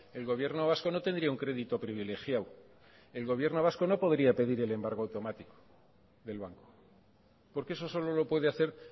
el gobierno vasco no tendría un crédito privilegiado el gobierno vasco no podría pedir el embargo automático del banco porque eso solo lo puede hacer